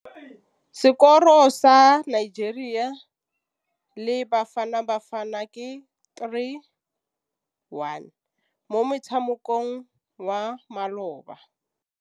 Sekôrô sa Nigeria le Bafanabafana ke 3-1 mo motshamekong wa malôba.